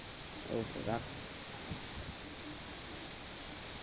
okay রাখ।